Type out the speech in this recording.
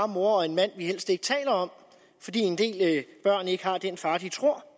mor og en mand vi helst ikke taler om fordi en del børn ikke har den far de tror